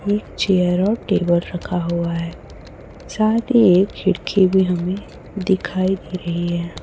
एक चेयर और टेबल रखा हुआ है साथ ही एक खिड़की भी हमें दिखाई दे रही है।